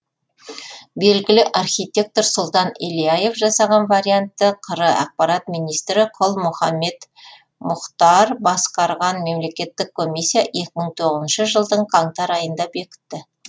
белгілі архитектор сұлтан ильяев жасаған вариантты қр ақпарат министрі құл мұхаммед мұхтар басқарған мемлекеттік комиссия екі мың тоғызыншы жылдың қаңтар айында бекітті